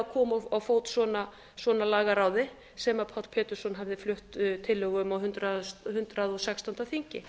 að koma á fót svona lagaráði sem páll pétursson hafði flutt tillögu um hundrað og sextándu þingi